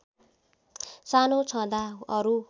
सानो छँदा अरू